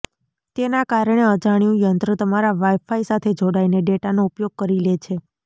તેના કારણે અજાણ્યું યંત્ર તમારા વાઇફાઇ સાથે જોડાઈને ડેટાનો ઉપયોગ કરી લે છે